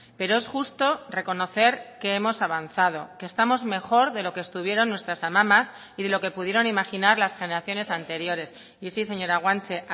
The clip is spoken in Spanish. pero es justo reconocer que hemos avanzado que estamos mejor de lo que estuvieron nuestras amamas y de lo que pudieron imaginar las generaciones anteriores y sí señora guanche